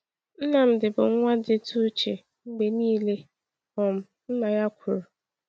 “Nnamdi bụ nwa dịtụ uche mgbe niile,” um nna ya kwuru.